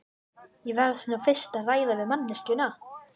Ég verð nú fyrst að ræða við manneskjuna.